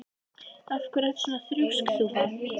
Af hverju ertu svona þrjóskur, Þúfa?